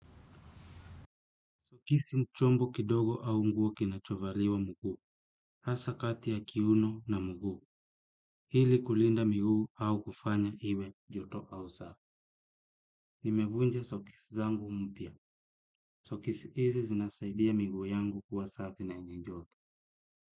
Sokisi ni chombo kidogo au nguo kinachovaliwa mguu, hasa kati ya kiuno na mguu, ili kulinda miguu au kufanya iwe na joto au safi. Nimekunja sokisi zangu mpya, sokisi hizi zinasaidia mguu yangu kuwa safi na yenye joto.